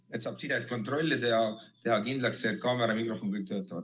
Siis saab sidet kontrollida ja teha kindlaks, kas kaamera ja mikrofon töötavad.